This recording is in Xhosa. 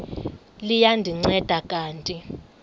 liya ndinceda kanti